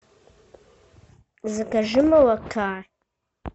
закажи молока